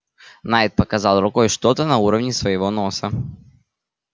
найд показал рукой что-то на уровне своего носа